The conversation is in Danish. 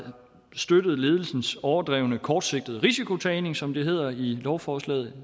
støttet ledelsernes overdrevne og kortsigtede risikotagning som det hedder i lovforslaget